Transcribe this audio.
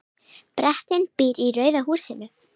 Bretinn býr í rauða húsinu.